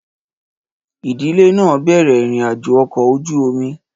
Ìdílé náà bẹ̀rẹ̀ ìrìn-àjò ọkọ̀ ojú omi.